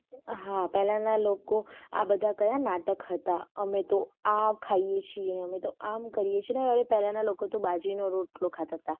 હા પહેલાના લોકો આ બધા કયા નાટક હતા આમે તો આ ખાઈએ છીએ ને અમે તો આમ કરીયે છે અને પહેલાના લોકો તો બાજરીનો રોટલા ખાતા હતા.